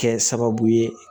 Kɛ sababu ye